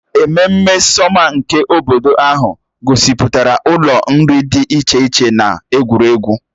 Ememme sọma nke obodo ahụ gosipụtara ụlọ nri dị iche iche na egwuregwu.